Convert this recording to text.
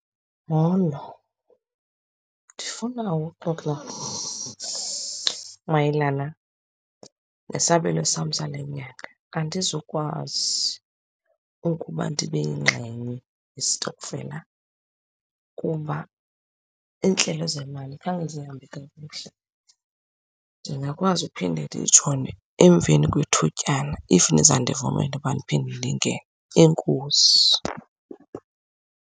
Molo, ndifuna uxoxa mayelana nesabelo sam sale nyanga. Andizukwazi ukuba ndibe yingxenye yestokfela kuba iintlelo zemali khange zihambe kakuhle. Ndingakwazi ukuphinda ndijoyine emveni kwethutyana if niza kundivumela ukuba ndiphinde ndingene. Enkosi.